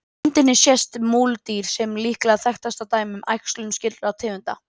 Á myndinni sést múldýr sem er líklega þekktasta dæmið um æxlun skyldra tegunda.